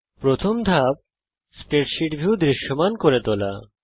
প্রথম ধাপ spreadsheet view দৃশ্যমান করে তোলা